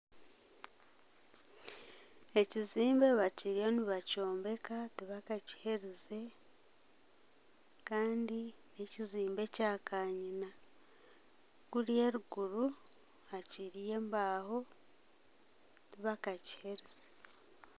Ekizimbe bariyo nibakyombeka tibakakiherize kandi n'ekizimbe kya kanyina , kuriya eruguru hakiriyo embaho tibakakiherize.